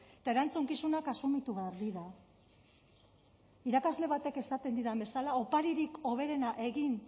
eta erantzukizunak asumitu behar dira irakasle batek esaten didan bezala oparirik hoberena egin